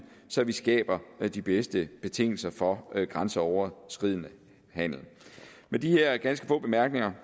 så vi skaber de bedste betingelser for grænseoverskridende handel med de her ganske få bemærkninger